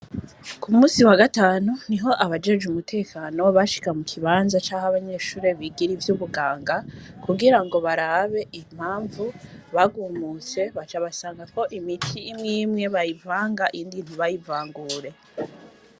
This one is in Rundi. Ku munsi wa gatanu, niho abajejwe umutekano bashika mu kibanza c'aho abanyeshure bigira ivy'ubuganga, kugira ngo barabe impamvu bagumutse, baca basanga ko imiti imwe imwe bayivanga, iyindi ntibayivangure.